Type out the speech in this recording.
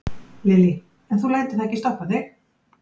Lillý: En þú lætur það ekki stoppa þig?